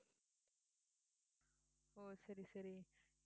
சரி சரி